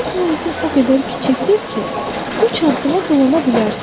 Sənin planetin o qədər kiçikdir ki, üç addıma dolana bilərsən.